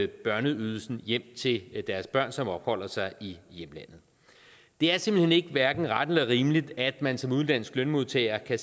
børneydelsen hjem til deres børn som opholder sig i hjemlandet det er simpelt hen hverken ret eller rimeligt at man som udenlandsk lønmodtager kan